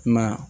I ma ye